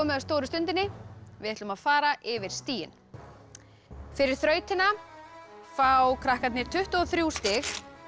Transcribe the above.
að stóru stundinni við ætlum að fara yfir stigin fyrir þrautina fá krakkarnir tuttugu og þrjú stig